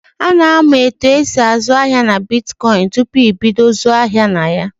A na-amụ etu esị azụ ahịa na bitkọịnị tupu ebido ịzụ ahịa na ya.